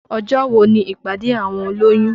Ọjọ́ wo ni ìpàdé àwọn olóyún?